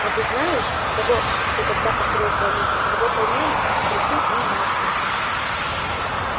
а ты знаешь того кто тогда открыл комнату его поймали спросил он малфоя